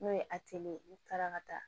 N'o ye ye n'u taara ka taa